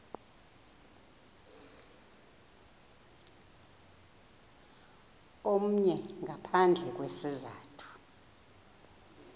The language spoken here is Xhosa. omnye ngaphandle kwesizathu